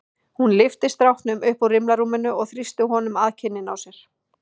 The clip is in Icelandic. Hún lyfti stráknum upp úr rimlarúminu og þrýsti honum að kinninni á sér.